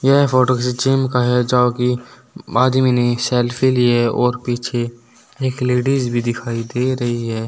यह फोटो किसी जिम का है जहां की मादमी ने एक सेल्फी ली है और पीछे एक लेडीज भी दिखाई दे रही है।